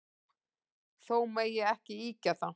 Þó megi ekki ýkja það.